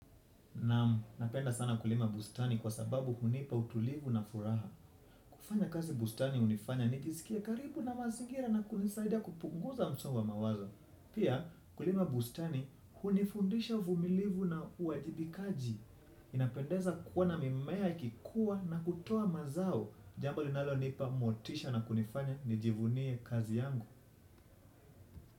Naam, napenda sana kulima bustani kwa sababu hunipa utulivu na furaha. Kufanya kazi bustani hunifanya nijisikie karibu na mazingira na kunisaidia kupunguza msongo wa mawazo. Pia, kulima bustani hunifundisha uvumilivu na uwajibikaji. Inapendeza kuona mimea ikikua na kutoa mazao. Jambo linalonipa motisha na kunifanya nijivunie kazi yangu.